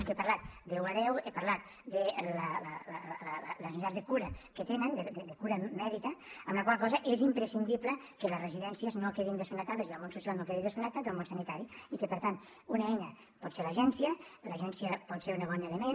el que he parlat d’un a deu he parlat de les necessitats de cura que tenen de cura mèdica amb la qual cosa és imprescindible que les residències no quedin desconnectades i el món social no quedi desconnectat del món sanitari i que per tant una eina pot ser l’agència l’agència pot ser un bon element